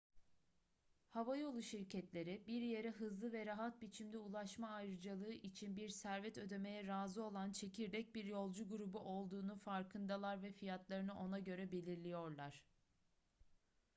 havayolu şirketleri bir yere hızlı ve rahat biçimde ulaşma ayrıcalığı için bir servet ödemeye razı olan çekirdek bir yolcu grubu olduğunun farkındalar ve fiyatlarını ona göre belirliyorlar